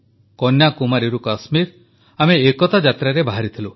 କନ୍ୟାକୁମାରୀରୁ କାଶ୍ମୀର ଆମେ ଏକତା ଯାତ୍ରାରେ ବାହାରିଥିଲୁ